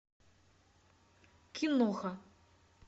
киноха